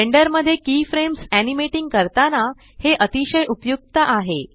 blender मध्ये keyframes animating करताना हे अतिशय उपयुक्त आहे